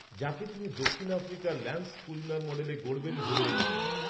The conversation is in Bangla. যাঁকে তিনি দক্ষিণ আফ্রিকার ল্যান্স ক্লূজনার মডেলে গড়বেন ভেবে রেখেছেন